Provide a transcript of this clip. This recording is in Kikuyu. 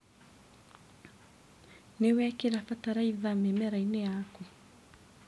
Nĩwekĩra bataraitha mĩmerainĩ yaku.